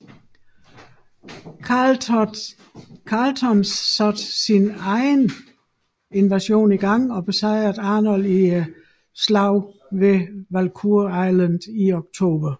Carleton igangsatte da sin egen invasion og besejrede Arnold i slaget ved Valcour Island i oktober